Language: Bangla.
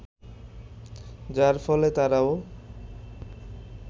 যার ফলে তারাও